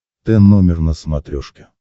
т номер на смотрешке